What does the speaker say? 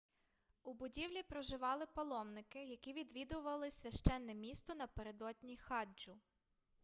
у будівлі проживали паломники які відвідували священне місто напередодні хаджу